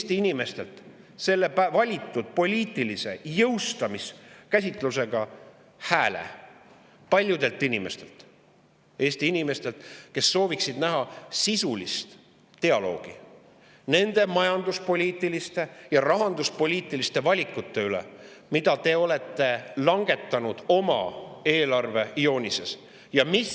Te võtate ära selle valitud poliitilise jõustamise käsitlusega hääle paljudelt inimestelt, Eesti inimestelt, kes sooviksid näha sisulist dialoogi majanduspoliitiliste ja rahanduspoliitiliste üle, mida te olete langetanud oma eelarvejoonise vaates.